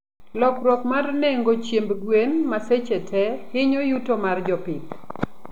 Lokruok mar nengo chiemb gwen ma seche tee hinyo yuto mar jopith